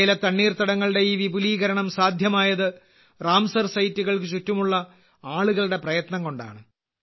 ഇന്ത്യയിലെ തണ്ണീർത്തടങ്ങളുടെ ഈ വിപുലീകരണം സാധ്യമായത് റാംസർ സൈറ്റുകൾക്ക് ചുറ്റുമുള്ള ആളുകളുടെ പ്രയത്നം കൊണ്ടാണ്